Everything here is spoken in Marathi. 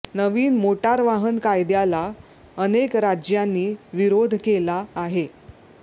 नवीन मोटार वाहन कायद्याला अनेक राज्यांनी विरोध केला आहे